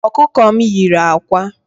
Okuko m yiri ákwà